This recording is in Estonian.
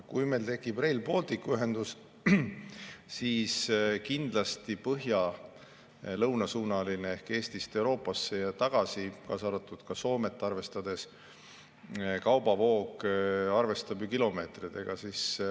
Kui meil tekib Rail Balticu ühendus, siis kindlasti põhja-lõunasuunaline kaubavoog ehk Eestist Euroopasse ja tagasi, arvestades ka Soomet, hõlmab ju kilomeetreid.